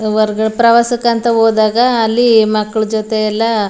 ಹೊರ್ಗ್ ಪ್ರವಾಸಕ್ಕೆ ಅಂತ ಹೋದಾಗ ಅಲ್ಲಿ ಮಕ್ಕಳ ಜೊತೆ ಎಲ್ಲ --